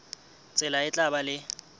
tsela e tla ba le